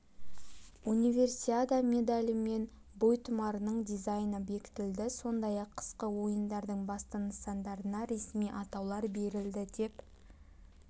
универсиада медалі мен бойтұмарының дизайны бектілді сондай-ақ қысқы ойындардың басты нысандарына ресми атаулар берілді деп